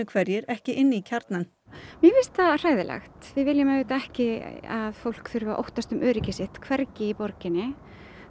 hverjir ekki inn í kjarnann mér finnst það hræðilegt við viljum auðvitað ekki að fólk þurfi að óttast um öryggi sitt hvergi í borginni